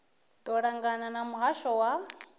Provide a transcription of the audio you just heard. ḽo ṱangana na muhasho wa